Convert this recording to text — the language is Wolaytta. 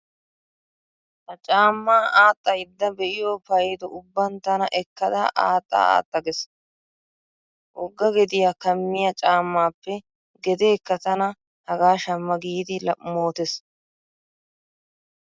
Ha caammaa aaxxaydda be'iyo paydo ubban tana ekkada aaxxa aaxxa gees. Wogga gediya kammiya caammaappe gedeekka tana hagaa shamma giidi mootees